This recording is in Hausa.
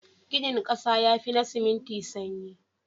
Ginin ƙasa yafi na siminti sanyi.